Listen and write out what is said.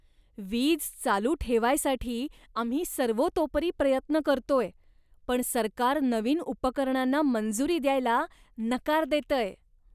वीज चालू ठेवायसाठी आम्ही सर्वतोपरी प्रयत्न करतोय, पण सरकार नवीन उपकरणांना मंजुरी द्यायला नकार देतंय.